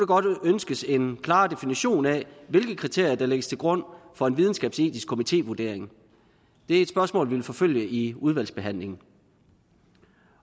godt ønskes en klarere definition af hvilke kriterier der lægges til grund for en videnskabsetisk komitévurdering det er et spørgsmål vi vil forfølge i udvalgsbehandlingen